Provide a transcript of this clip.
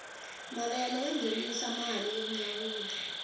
mavele ya ngenisa mali yo nyawula